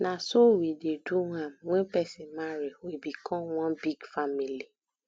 na so we dey do am wen person marry we become one big family